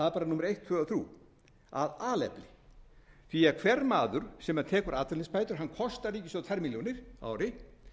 númer eitt tvö og þrjú af alefli því að hver maður sem tekur atvinnuleysisbætur kostar ríkissjóð tvær milljónir á ári